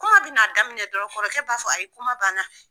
Kuma bɛ n'a daminɛ dɔrɔn kɔrɔkɛ b'a fɔ ayi kuma banna.